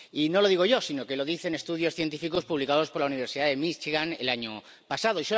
Y no lo digo yo, sino que lo dicen estudios científicos publicados por la Universidad de Michigan el año pasado.